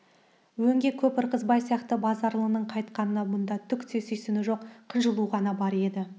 өңге көп ырғызбай сияқты базаралының қайтқанына бұнда түк те сүйсіну жоқ қынжылу ғана бар еді